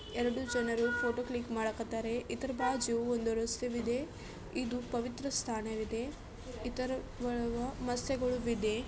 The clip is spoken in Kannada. ಎರಡು ಜನರು ಫೋಟೋ ಕ್ಲಿಕ್ ಮಾಡಕತ್ತರೆ ಬಾಜು ಒಂದು ರಸ್ತೆವಿದೆ ಇದು ಪವಿತ್ರ ಸ್ಥಾನವಿದೆ ಇದರೊಳಗೆ ಮಸ್ಯಗೊಳ ವಿದೆ.